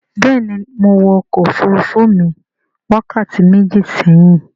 béèni Mọ wò ọkọ òfurufú mi wákàtí méjì séhìn.